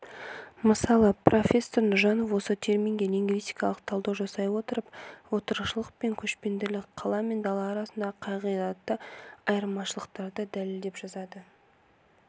мысалы профессор нұржанов осы терминге лингвистикалық талдау жасай отырып отырықшылық пен көшпенділік қала мен дала арасындағы қағидатты айырмашылықтарды дәлелдеп жазады